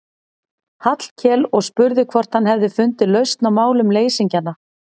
Hallkel og spurði hvort hann hefði fundið lausn á málum leysingjanna.